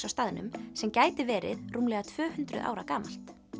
á staðnum sem gæti verið rúmlega tvö hundruð ára gamalt